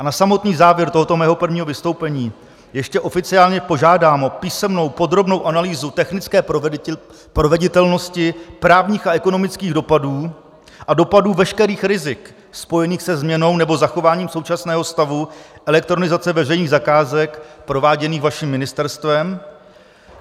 A na samotný závěr tohoto mého prvního vystoupení ještě oficiálně požádám o písemnou podrobnou analýzu technické proveditelnosti právních a ekonomických dopadů a dopadů veškerých rizik spojených se změnou nebo zachováním současného stavu elektronizace veřejných zakázek prováděných vaším ministerstvem.